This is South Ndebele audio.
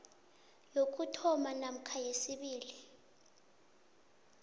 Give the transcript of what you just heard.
yokuthoma namkha yesibili